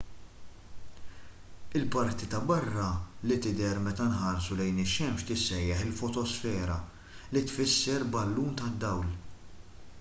il-parti ta' barra li tidher meta nħarsu lejn ix-xemx tissejjaħ il-fotosfera li tfisser ballun tad-dawl